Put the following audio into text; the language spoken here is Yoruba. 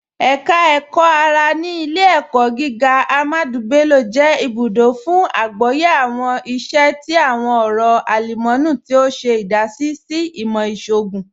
Ẹka Ẹkọ-ara ni Ilẹ̀-ẹ̀kọ̀ gígà Ahmadu Bello jẹ ibùdó fún àgbọ̀yẹ̀ awọn iṣẹ̀ ti awọn ọ̀rọ̀ alumọ̀nì, tí o ṣe idasí sí ìmọ̀ iṣọọ̀gùn.